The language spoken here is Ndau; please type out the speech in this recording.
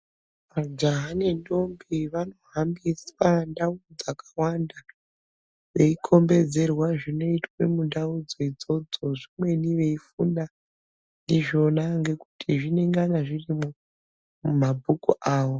Majaha nendombi vanohambiswa ndau dzakawanda veikombedzerwa zvinoitwa mundaudzo idzodzo zvimweni veifunda ndizvona ngekuti zvinengana zvirimwo mumabhuku avo.